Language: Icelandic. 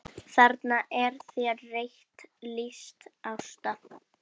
Þarna er þér rétt lýst Ásta!